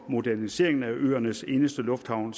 moderniseringen af øernes eneste lufthavn